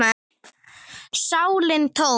sálin tóm.